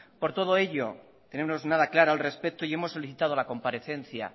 por todo ello no tenemos nada claro al respecto y hemos solicitado la comparecencia